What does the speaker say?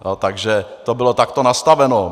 Takže to bylo takto nastaveno.